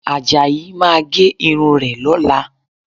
Àjàyí máa gé irun rẹ̀ lọ́la